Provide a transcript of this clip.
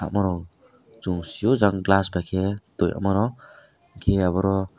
morog chung siyo jang glass bai ke toimarok kei aborok.